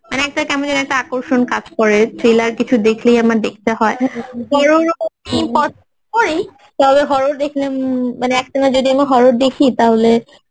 মানে একটা কেমন যেন একটা আকর্ষণ কাজ করে thriller কিছু দেখলেই আমার দেখতে হয় ওই দেখলে মানে একটানা যদি আমার horror দেখি তাহলে